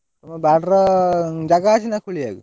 ତମ ବାଡ଼ିର ଜାଗା ଅଛି ନା ଖୋଳିଆକୁ?